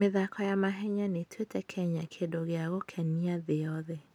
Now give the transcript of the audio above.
mĩthako ya mahenya nĩ ĩtuĩte Kenya kĩndũ gĩa gwĩkenia thĩ yothe.